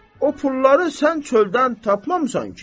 O pulları sən çöldən tapmamısan ki.